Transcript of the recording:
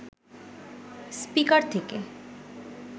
speaker থেকে